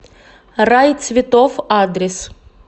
рай цветов адрес